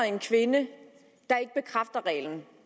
en kvinde der ikke bekræfter reglen